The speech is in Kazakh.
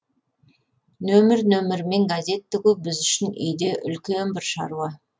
нөмір нөмірімен газет тігу біз үшін үйде үлкен бір шаруа